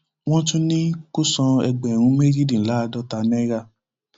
wọn tún ní kó san ẹgbẹrún méjìdínláàádọta náírà